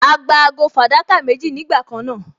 A gba ago fàdákà méjì nígbà kan náà